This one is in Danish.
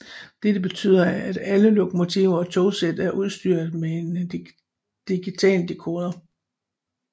Dette betyder at alle lokomotiver og togsæt er udstyret med en digitaldekodere